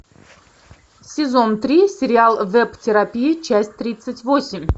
сезон три сериал веб терапия часть тридцать восемь